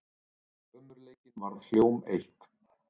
Ömurleikinn varð hjóm eitt.